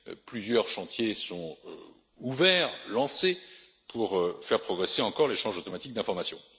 Plusieurs chantiers sont ouverts et lancés pour faire progresser encore l'échange automatique d'informations.